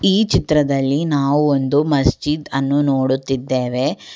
ಈ ಚಿತ್ರದಲ್ಲಿ ನಾವು ಒಂದು ಮಸ್ಜಿದ್ ಅನ್ನು ನೋಡುತ್ತಿದ್ದೇವೆ.